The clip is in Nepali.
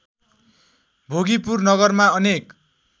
भोगीपुर नगरमा अनेक